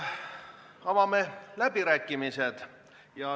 Avame läbirääkimised.